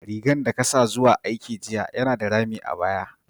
Rigan da ka sa zuwa aiki jiya yana da rami a baya.